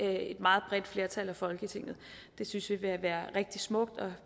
et meget bredt flertal i folketinget det synes vi vil være rigtig smukt og